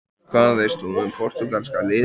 En hvað veist þú um Portúgalska-liðið?